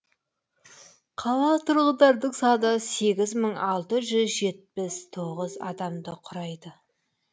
қала тұрғындарының саны сегіз мың алты жүз жетпіс тоғыз адамды құрайды